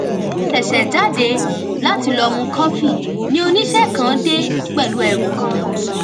mo ṣèṣè jáde láti lọ mu kọfí ni oníṣé kan dé pèlú ẹrù kan